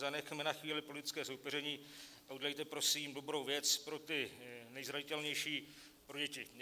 Zanechme na chvíli politického soupeření a udělejte prosím dobrou věc pro ty nejzranitelnější, pro děti.